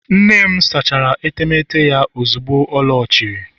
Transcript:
nne m sachara etemeete ya ozugbo ọ lọghachiri